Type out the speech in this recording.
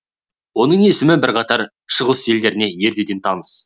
оның есімі бірқатар шығыс елдеріне ертеден таныс